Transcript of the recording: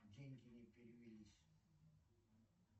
деньги не перевелись